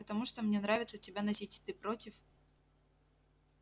потому что мне нравится тебя носить ты против